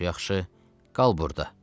Çox yaxşı, qal burda.